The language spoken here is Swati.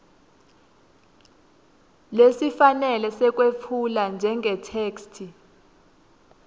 lesifanele sekwetfula njengetheksthi